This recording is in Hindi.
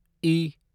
ई